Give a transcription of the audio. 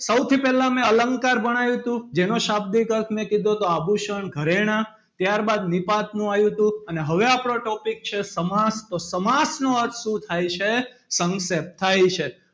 સૌથી પહેલાં મેં અલંકાર ભણાવ્યું હતું. જેનો શાબ્દિક અર્થ મેં કીધું હતું તો આભૂષણ ઘરેણા ત્યારબાદ નિપાતનું આયુ હતું. અને હવે આપણો topic છે સમાસ તો સમાસ નો અર્થ શું થાય છે. સંક્ષેપ્ત થાય છે.